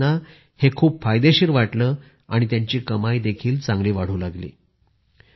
मंजूर भाईंना हे खूप फायदेशीर वाटले आणि त्यांची कमाई देखील चांगली वाढू लागली